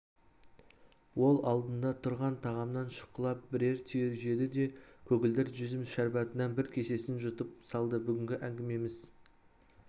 ол алдында тұрған тағамнан шұқылап бірер түйір жеді де көгілдір жүзім шәрбатынан бір кесесін жұтып салды бүгінгі әңгімеміз